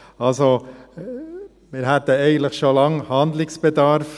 Wir hätten eigentlich schon lange Handlungsbedarf.